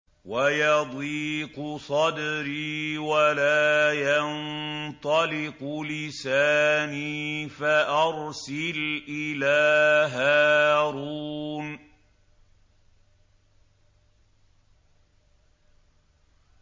وَيَضِيقُ صَدْرِي وَلَا يَنطَلِقُ لِسَانِي فَأَرْسِلْ إِلَىٰ هَارُونَ